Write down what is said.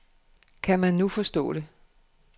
Kan man nu forstå det.